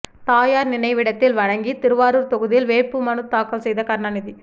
தாயார் நினைவிடத்தில் வணங்கி திருவாரூர் தொகுதியில் வேட்புமனு தாக்கல் செய்த கருணாநிதி